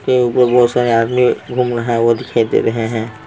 बहुत सारे आदमी है घूम रहे हैं वो दिखाई दे रहे हैं .